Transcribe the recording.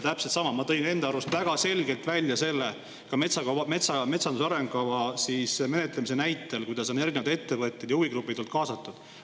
Täpselt sama on, ma tõin enda arust väga selgelt välja metsanduse arengukava menetlemise näite, kuidas on erinevad ettevõtted ja huvigrupid olnud kaasatud.